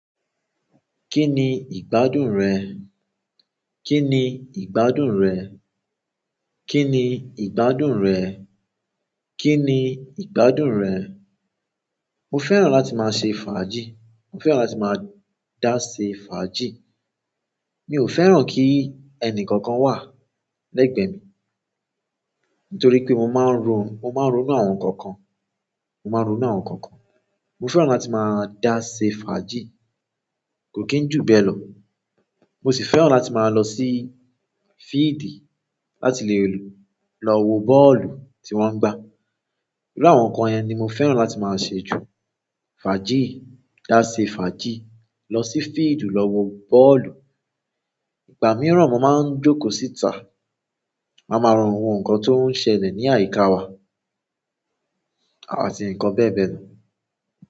Kí ni ìgbádùn rẹ? Kí ni ìgbádùn rẹ? Kí ni ìgbádùn rẹ? Kí ni ìgbádùn rẹ? Mo fẹ́ràn láti máa ṣe fàájì. Mo fẹ́ràn láti máa dá ṣe fàájì. Mi ò fẹ́ràn kí ẹnì kankan wà lẹ́gbẹ̀ẹ́ mi, nítorí pé mo máa ń ronú àwọn nǹkan kan. Mo máa ń ronú àwọn nǹkan kan. Mo fẹ́ràn láti máa dá ṣe fàájì. Kò kí ń jù bẹ́ẹ̀ lọ. Mo sì fẹ́ràn láti máa lọ sí field láti lè lọ wo bọ́ọ̀lù tí wọ́n ń gbá. Iru àwọn nǹkan yẹn ni mo fẹ́ràn láti máa ṣe jù. Fàájì, dá ṣe fàájì, lọ sí field lọ wo bọ́ọ̀lù. Ìgbà mìíràn mo máa ń jókòó síta, màá má wo àwọn nǹkan tó ń ṣẹlẹ̀ ní àyíká wa àti nǹkan bẹ́ẹ̀ bẹ́ẹ̀ lọ.